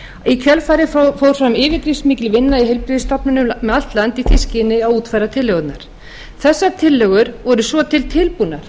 í kjölfarið fór fram yfirgripsmikil vinna í heilbrigðisstofnunum um allt land í því skyni að útfæra tillögurnar þessar tillögur voru svo til tilbúnar